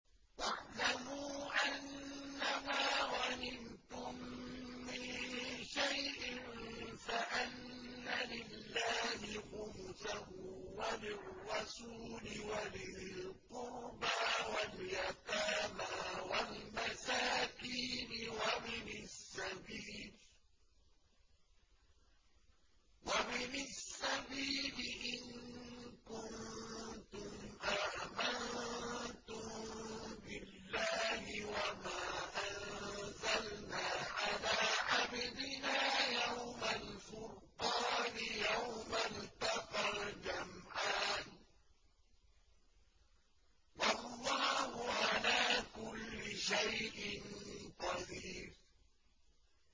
۞ وَاعْلَمُوا أَنَّمَا غَنِمْتُم مِّن شَيْءٍ فَأَنَّ لِلَّهِ خُمُسَهُ وَلِلرَّسُولِ وَلِذِي الْقُرْبَىٰ وَالْيَتَامَىٰ وَالْمَسَاكِينِ وَابْنِ السَّبِيلِ إِن كُنتُمْ آمَنتُم بِاللَّهِ وَمَا أَنزَلْنَا عَلَىٰ عَبْدِنَا يَوْمَ الْفُرْقَانِ يَوْمَ الْتَقَى الْجَمْعَانِ ۗ وَاللَّهُ عَلَىٰ كُلِّ شَيْءٍ قَدِيرٌ